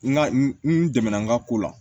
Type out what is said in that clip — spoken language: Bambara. N ka n dɛmɛ n ka ko la